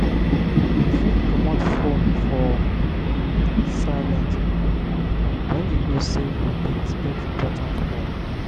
you fit comot phone for um silent um when you know sey you dey expect important call